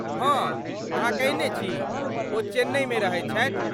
हँ अहाँ कयने छी, ओ चेन्नईमे रहैत छथि।